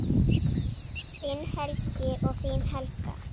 Þinn Helgi og þín Helga.